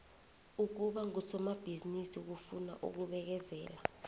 ukuba ngusomatjhithini kufuna ukubekezela